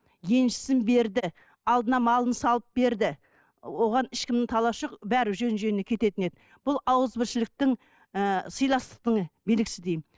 еншісін берді алдына малын салып берді оған ешкімнің таласы жоқ бәрі жөн жөніне кететін еді бұл ауызбіршіліктің ы сыйластықтың белгісі деймін